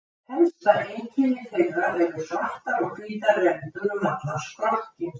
Helsta einkenni þeirra eru svartar og hvítar rendur um allan skrokkinn.